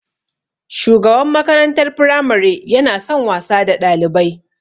Shugaban makarantar firamare yana son wasa da Ɗalibai.